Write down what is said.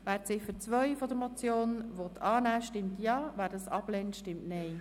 Wer die Ziffer 2 der Motion annehmen möchte, stimmt Ja, wer dies ablehnt, stimmt Nein.